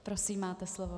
Prosím, máte slovo.